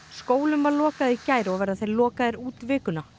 skólum var lokað í gær og verða lokaðir út vikuna